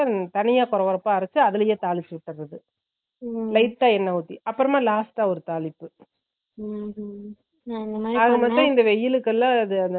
வெங்கயத்த தனிய கொரகொரகறப்பா அறைச்சு அதுலையே தாளிச்சு விட்டறது lite அ என்ன உத்தி அப்பறோம last அ ஒரு தாளிப்பு ஆகாமொத்தம் இந்த வெயில்க்கு எல்லாம்